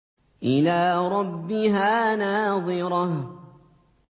إِلَىٰ رَبِّهَا نَاظِرَةٌ